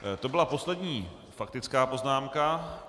To byla poslední faktická poznámka.